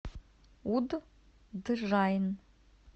удджайн